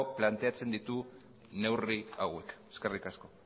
planteatzen ditu neurri hauek eskerrik asko